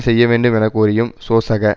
செய்ய வேண்டும் என கோரியும் சோசக